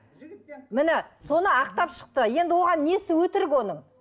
міне соны ақтап шықты енді оған несі өтірік оның